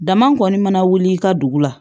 Dama kɔni mana wuli i ka dugu la